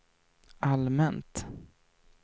allmänt